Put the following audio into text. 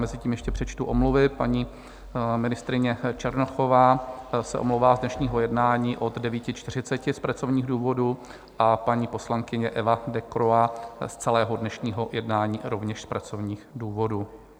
Mezi tím ještě přečtu omluvy: paní ministryně Černochová se omlouvá z dnešního jednání od 9.40 z pracovních důvodů a paní poslankyně Eva Decroix z celého dnešního jednání rovněž z pracovních důvodů.